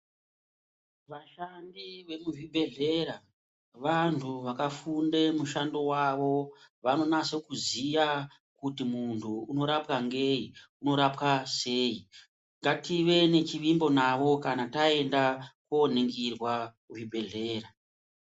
Vashandi vemuzvibhedhlera vantu vakafunda mishando yawo vanonasa kuziva kuti muntu unoraowa nei unorapwa sei negative nechivimbo navo kana taenda koningirwa kuzvibhedhlera.